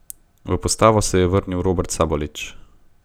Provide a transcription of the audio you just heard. V postavo se je vrnil Robert Sabolič.